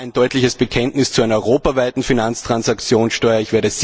Auch Ja, ein deutliches Bekenntnis zu einer europaweiten Finanztransaktionssteuer!